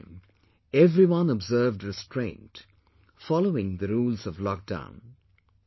But this time, everyone observed restraint, following the rules of lockdown